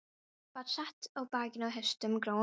Hann vatt sér á bak hestinum, gráum gæðingi.